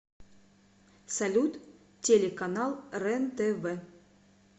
салют телеканал рентв